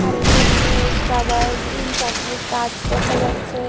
কারেন্টের পোস্ট আবার তিন চারটে গাছ দেখা যাচ্ছে।